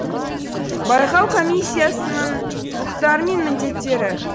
байқау комиссиясының құқықтары мен міндеттері